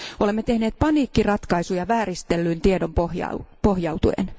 Olemme tehneet paniikkiratkaisuja vääristeltyyn tietoon pohjautuen.